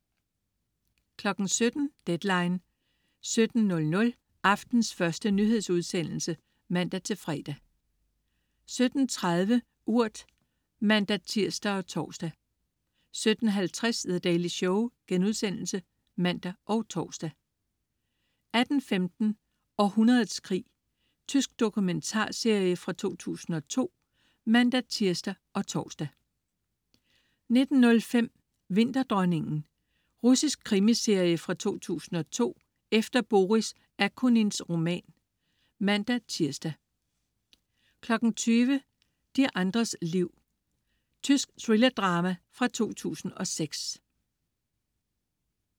17.00 Deadline 17:00. Aftenens første nyhedsudsendelse (man-fre) 17.30 Urt (man-tirs og tors) 17.50 The Daily Show* (man og tors) 18.15 Århundredets krig. Tysk dokumentarserie fra 2002 (man-tirs og tors) 19.05 Vinterdronningen. Russisk krimiserie fra 2002 efter Boris Akunins roman (man-tirs) 20.00 De andres liv. Tysk thrillerdrama fra 2006